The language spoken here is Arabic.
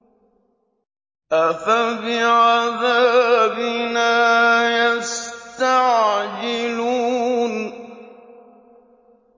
أَفَبِعَذَابِنَا يَسْتَعْجِلُونَ